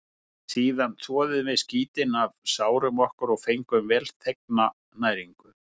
Síðan þvoðum við skítinn af sárum okkar og fengum velþegna næringu.